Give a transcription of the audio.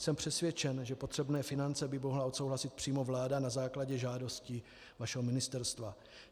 Jsem přesvědčen, že potřebné finance by mohla odsouhlasit přímo vláda na základě žádosti vašeho ministerstva.